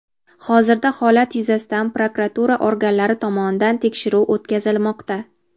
Hozirda holat yuzasidan prokuratura organlari tomonidan tekshiruv o‘tkazilmoqda.